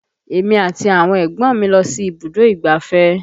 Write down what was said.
Èmi àti àwọn ẹ̀gbọ́n mi lọ sí ibùdó ìgbáfẹ́